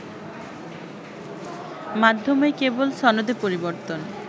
মাধ্যমেই কেবল সনদে পরিবর্তন